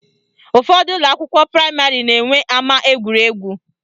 Ụfọdụ ụlọakwụkwọ praịmarị na-enwe ama egwuregwu